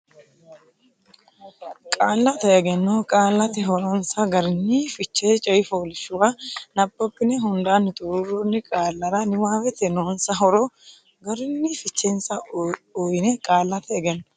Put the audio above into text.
Qaallate Egenno Qaallate Horonsa Garinni Fiche coy fooliishshuwa nabbabbine hundaanni xuruurroonni qaallara niwaawete noonsa horo garinni fichensa uyiyye Qaallate Egenno.